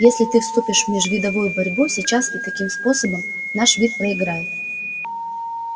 если ты вступишь в межвидовую борьбу сейчас и таким способом наш вид проиграет